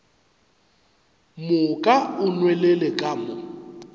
moka o nwelele ka mo